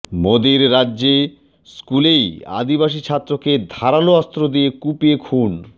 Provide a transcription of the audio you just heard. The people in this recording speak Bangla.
মোদীর রাজ্যে স্কুলেই আদিবাসী ছাত্রকে ধারালো অস্ত্র দিয়ে কুপিয়ে খুন